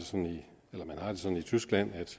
sådan i tyskland at